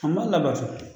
A ma labato